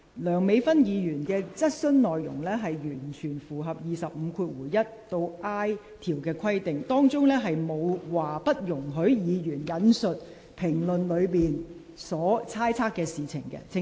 梁美芬議員的質詢內容完全符合《議事規則》第25條1款 a 至 i 段的規定，當中條文並沒有列明不容許議員引述評論的事情，請你留意。